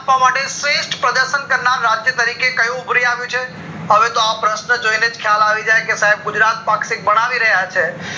આપવા માટે શ્રેષ્ઠ પ્રદર્શન કરનાર રાજ્ય તરીકે કયું ઉભરી આવ્યું છે હવે તો આ પ્રશ્ન જોઇને ખ્યાલ આવી જાય કે ગુજરાત પાક્ષિક બનાવી રહ્યા છે